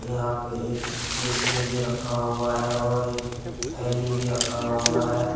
यहां पे एक क-कैसियो भी रखा हुआ है और एक थैली भी रखा हुआ है।